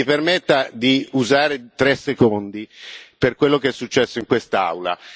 Mi permetta di usare tre secondi per quello che è successo in quest'Aula.